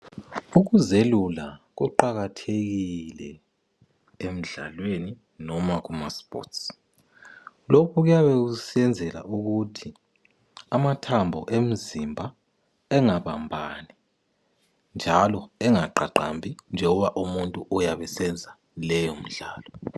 Ukuzelula kuqakathekile emdlalweni, loba kumasports. Lokhu kuyabe kusenzelwa ukuthi amathambo emzimba angabambani njalo angaqaqambi njoba. umuntu uyabe esenza leyomidlalo.